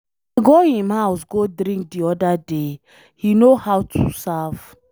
I go im house go drink the other day, he know how to serve.